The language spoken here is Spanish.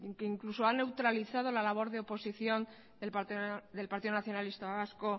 que incluso a neutralizado la labor de oposición del partido nacionalista vasco